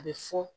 A bɛ fɔ